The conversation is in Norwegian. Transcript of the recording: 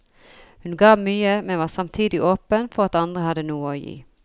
Hun ga mye, men var samtidig åpen for at andre hadde noe å gi.